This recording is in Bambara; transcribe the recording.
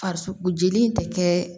Farisoko jeli in tɛ kɛ